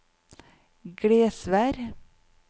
Glesvær